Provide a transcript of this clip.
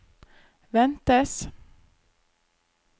ventes